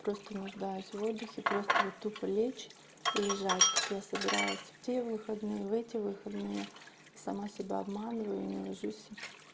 просто нуждаясь в отдыхе просто вот тупо лечь и лежать как я собиралась в те выходные в эти выходные и сама себя обманываю и не ложусь